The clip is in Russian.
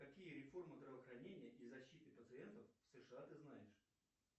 какие реформы здравоохранения и защиты пациентов в сша ты знаешь